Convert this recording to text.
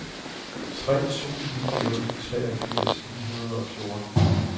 tre to ni nul treogfirs ni hundrede og fjorten